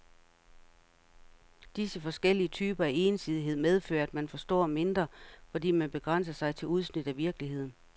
Disse forskellige typer af ensidighed medfører, at man forstår mindre, fordi man begrænser sig til udsnit af virkeligheden.